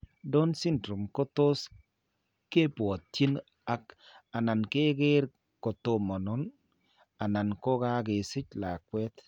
Down syndrome ko tos ke bwatyin ak/anan ke ker ko tomono, anan ko ka kesich lakweet.